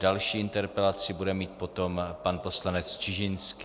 Další interpelaci bude mít potom pan poslanec Čižinský.